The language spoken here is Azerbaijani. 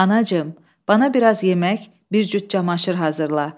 Anacığım, bana biraz yemək, bir cüt camaşır hazırla.